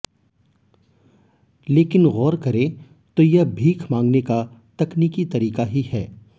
लेकिन गौर करें तो यह भीख मांगने का तकनीकी तरीका ही है